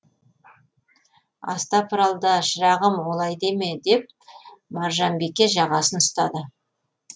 астапыралда шырағым олай деме деп маржанбике жағасын ұстады